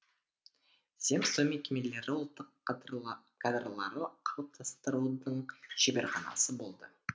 земство мекемелері ұлттық кадрларды қалыптастырудың шеберханасы болды